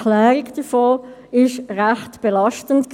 Frage ist beispielsweise: